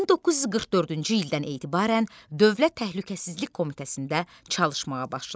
1944-cü ildən etibarən Dövlət Təhlükəsizlik Komitəsində çalışmağa başladı.